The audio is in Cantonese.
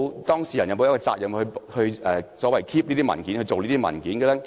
當事人有沒有責任保存和擬備這些文件？